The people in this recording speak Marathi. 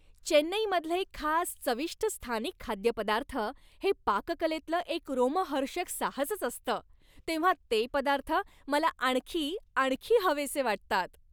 चेन्नईमधले खास चविष्ट स्थानिक खाद्यपदार्थ हे पाककलेतलं एक रोमहर्षक साहसच असतं, तेव्हा ते पदार्थ मला आणखी आणखी हवेसे वाटतात.